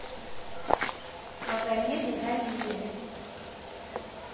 магомеде галине